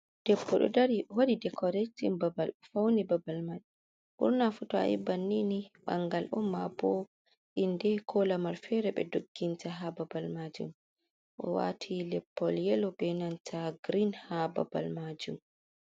Debbo ɗo dari waɗi dekoretin babal. O fauni babal majum. Ɓurna fu to ayibbannin bangal on, ma bo inde, ko lamar fere ɓe dogginta ha babal majum. O wati leppol yelo be nanta grin ha babal majum.